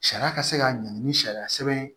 Sariya ka se ka ɲangi ni sariya sɛbɛn